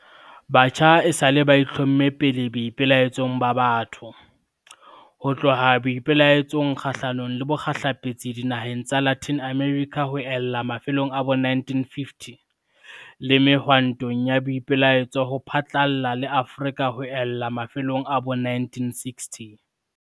Batjha esale ba itlhomme pele boipelaetsong ba batho, ho tloha boipelaetsong kgahlano le bokgehlepetsi dinaheng tsa Latin America ho ella mafelong a bo 1950, le mehwantong ya boipelaetso ho phatlalla le Afrika ho ella mafelong a bo 1960.